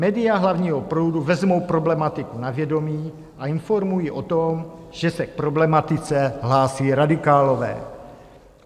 Média hlavního proudu vezmou problematiku na vědomí a informují o tom, že se k problematice hlásí radikálové.